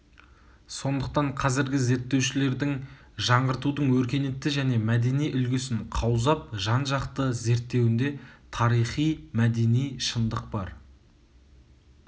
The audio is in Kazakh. сондықтан қазіргі зерттеушілердің жаңғыртудың өркениетті және мәдени үлгісін қаузап жан-жақты зерттеуінде тарихи мәдени шындық бар